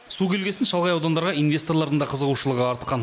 су келгесін шалғай аудандарға инвесторлардың да қызығушылығы артқан